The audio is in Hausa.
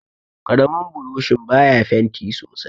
karamin burishin baya fenti sosai